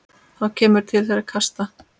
Þá kemur til þeirra kasta.